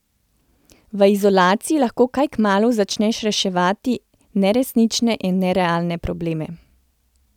V izolaciji lahko kaj kmalu začneš reševati neresnične in nerealne probleme.